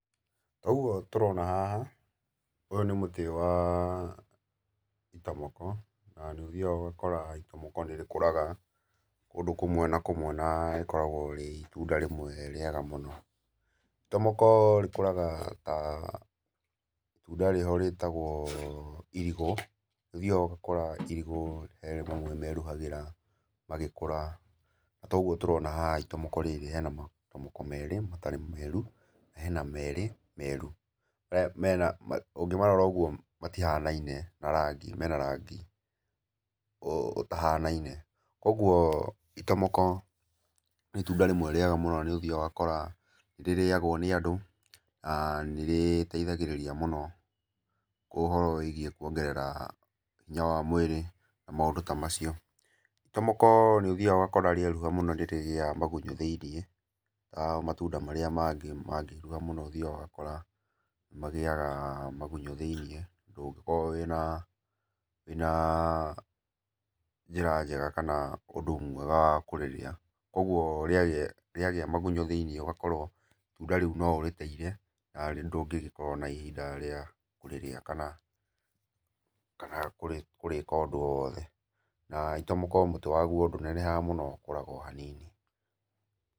Toguo tũrona haha, ũyũ nĩ mũtĩ wa, itomoko, na nĩ ũthiaga ũgakora itomoko nĩ rĩkũraga kũndũ kũmwe na kũmwe na rĩkoragwo rĩ itunda rĩmwe rĩega mũno, itomoko rĩkũraga ta, itunda rĩho rĩtagwo, irigũ, ũthiaga ũgakora irigũ he rĩmwe makeruhagĩra magĩkũra, na toguo tũrona haha itomoko rĩrĩ, he na matomoko merĩ matarĩ meru, na hena merĩ meru, ũngĩmarora ũguo matihanaine na rangi, mena rangi ũtahanaine, kũguo itomoko nĩ itunda rĩmwe rĩega mũno nĩ ũthiaga ũgakora nĩ rĩrĩagwo nĩ andũ na nĩ rĩteithagĩrĩria mũno ũhoro wĩgiĩ kuongerera hinya wa mwĩrĩ na maũndũ ta macio. Itomoko nĩ ũthiaga ũkoraga rĩeruha mũno nĩ rĩgĩaga magunyũ thĩ-inĩ ta matunda marĩa mangĩ mangĩruha mũno ũthiaga ũgakora magĩaga magunyũ thĩ-inĩ, ndũngĩkorwo wĩna njĩra njega kana ũndũ mwega wa kũrĩrĩa, kũguo rĩagĩa magunyũ thĩinĩ ũgakorwo itunda ríu no ũrĩteire na ndũngĩkorwo na ihinda rĩega rĩa kũrĩrĩa kana kũrĩka o ũndũ o wothe. Na itomoko mũtĩ waguo ndũnenehaga mũno ũkũraga o hanini.